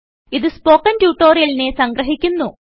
ഇതു സ്പോകെൻ ട്യൂട്ടോറിയലിനെ സംഗ്രഹിക്കുന്നു